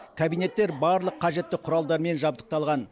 кабинеттер барлық қажетті құралдармен жабдықталған